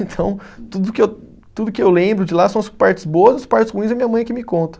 Então, tudo o que eu, tudo o que eu lembro de lá são as partes boas, as partes ruins é minha mãe que me conta.